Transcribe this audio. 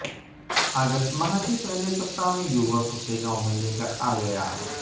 अगस्त माह के पहले सप्ताह में युवक उसे गांव में लेकर आ गया